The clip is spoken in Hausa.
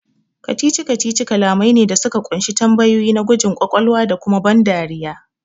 Kacici-kacici kalamai ne da suka kunshi tambayoyi na gwajin kwakwalwa da kuma ban dariya